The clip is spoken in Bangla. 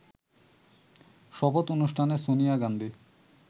শপথ অনুষ্ঠানে সোনিয়া গান্ধী